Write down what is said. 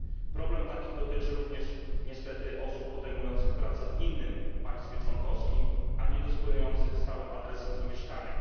Problem taki dotyczy również niestety osób podejmujących pracę w innym państwie członkowskim, a niedysponujących stałym adresem zamieszkania.